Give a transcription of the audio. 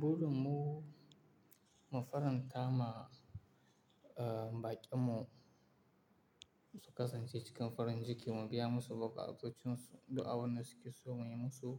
Buru mu, mu faranta ma, eh, baƙin mu su kasance cikin farin ciki, mu biya musu bukukuƙancinsu, du'a wannan suke so muyi musu,